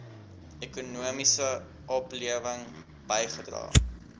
ekonomiese oplewing bygedra